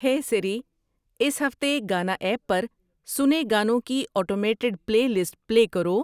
ہے سیری اس ہفتے گانا ایپ پر سنے گانو کی اوٹومیٹڈ پلے لسٹ پلے کرو